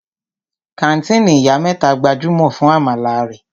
Kàńtìnì Ìyá mẹ́ta gbajúmọ̀ fún àmàlà rẹ̀.